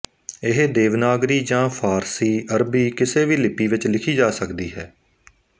ਇਹ ਦੇਵਨਾਗਰੀ ਜਾਂ ਫ਼ਾਰਸੀ ਅਰਬੀ ਕਿਸੇ ਵੀ ਲਿਪੀ ਵਿੱਚ ਲਿਖੀ ਜਾ ਸਕਦੀ ਹੈ